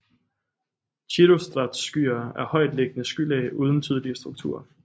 Cirrostratusskyer er højtliggende skylag uden tydelige strukturer